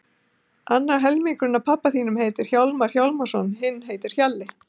Annar helmingurinn af pabba þínum heitir Hjálmar Hjálmarsson, hinn heitir Hjalli.